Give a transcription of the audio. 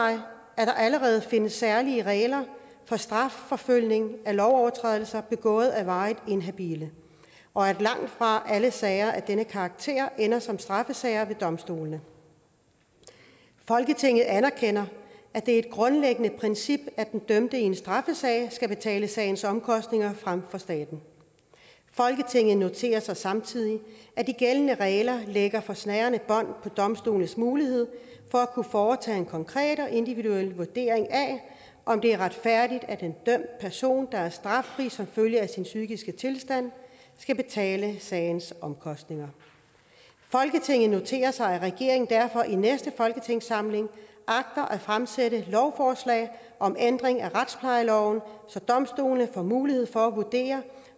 at der allerede findes særlige regler for strafforfølgning af lovovertrædelser begået af varigt inhabile og at langtfra alle sager af denne karakter ender som straffesager ved domstolene folketinget anerkender at det er et grundlæggende princip at den dømte i en straffesag skal betale sagens omkostninger frem for staten folketinget noterer sig samtidig at de gældende regler lægger for snærende bånd på domstolenes mulighed for at kunne foretage en konkret og individuel vurdering af om det er retfærdigt at en dømt person der er straffri som følge af sin psykiske tilstand skal betale sagens omkostninger folketinget noterer sig at regeringen derfor i næste folketingssamling agter at fremsætte lovforslag om ændring af retsplejeloven så domstolene får mulighed for at vurdere